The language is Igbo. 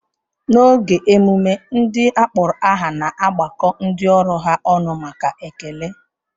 N'oge emume, ndị akpọrọ aha na-agbakọ ndị ọrụ ha ọnụ maka ekele.